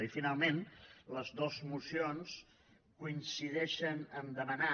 i finalment les dues mocions coincideixen a demanar